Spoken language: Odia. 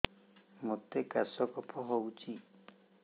ମୋତେ କାଶ କଫ ହଉଚି